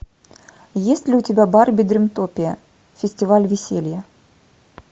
есть ли у тебя барби дримтопия фестиваль веселья